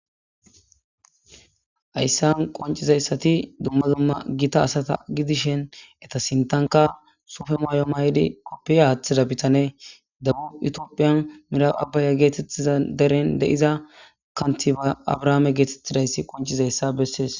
Hayssan qoncizayssati dumma dumma gita asata gidishen eta sintanka sofe maayo may'di koppia aaththida bitane dabub itiophiyan mira abbaya geetettiza deren deiza kanti ba abrahaame geetettidayssi qoncizayssa bessees.